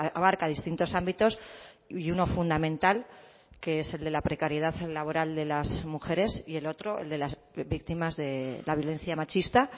abarca distintos ámbitos y uno fundamental que es el de la precariedad laboral de las mujeres y el otro el de las víctimas de la violencia machista